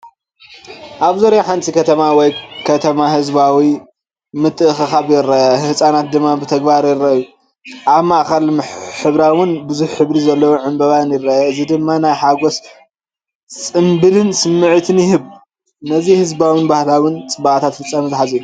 ኣብ ዙርያ ሓንቲ ከተማ ወይ ከተማ ህዝባዊ ምትእኽኻብ ይርአ፣ ህንጻታት ድማ ብተግባር ይረኣዩ። ኣብ ማእከል ሕብራዊን ብዙሕ ሕብሪ ዘለዎን ዕንበባ ይርአ፣ እዚ ድማ ናይ ሓጎስን ጽምብልን ስምዒት ይህብ። ነቲ ህዝባውን ባህላውን ጽባቐታት ፍጻመ ዝሓዘ እዩ።